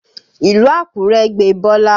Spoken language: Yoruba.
Ìlú Àkúrẹ́ gbe Bọ́lá